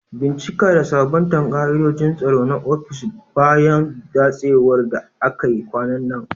Bincika da sabunta ka'idojin tsaro na ofis bayan datsewar da akai kwanan nan.